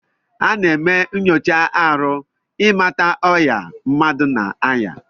Ana eme nyocha arụ imata ọya mmadu na aya.